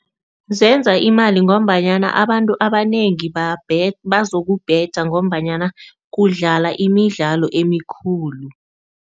Zenza imali ngombanyana abantu abanengi bazokubheja ngombanyana kudlala imidlalo emikhulu.